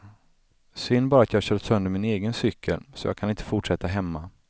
Synd bara att jag kört sönder min egen cykel, så jag inte kan fortsätta hemma.